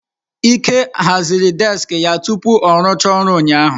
Ike haziri deski ya tupu ọ rụchaa ọrụ ụnyaahụ.